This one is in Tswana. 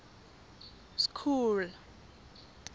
school